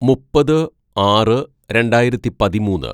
"മുപ്പത് ആറ് രണ്ടായിരത്തി പതിമൂന്ന്‌